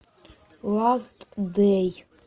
ласт дэй